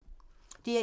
DR1